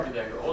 Ay, bir dəqiqə.